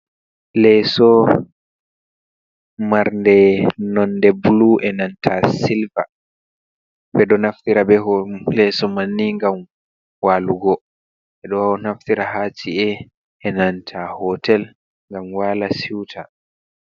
Leeso marde nonde blu enanta silver ɓeɗo naftira ɓe leeso manni ngam walugo ɓeɗo naftira ha ci'e enanta hotel ngam wala suita.